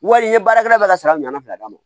Wari ye baarakɛla ka sara ɲuman fila d'a ma